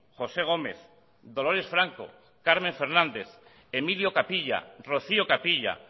josé gómez dolores franco carmen fernández emilio capilla rocío capilla